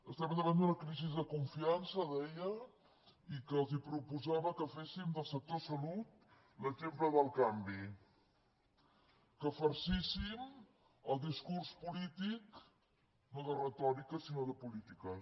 estem davant d’una crisi de confiança deia i que els proposava que féssim del sector salut l’exemple del canvi que farcíssim el discurs polític no de retòrica sinó de polítiques